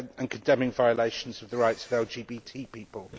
condemning violations of the rights of LGBT people.